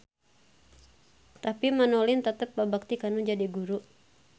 Tapi Manolin tetep babakti kanu jadi guru.